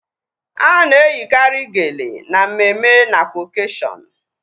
Ana eyikari geele na mmemme nakwa okashion